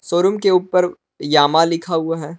Showroom के ऊपर Yamaha लिखा हुआ है।